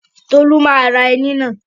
Tolú má ra ẹní náà.